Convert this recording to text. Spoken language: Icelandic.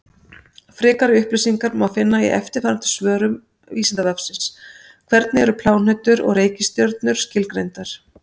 Frekari upplýsingar má finna í eftirfarandi svörum Vísindavefsins: Hvernig eru plánetur og reikistjörnur skilgreindar?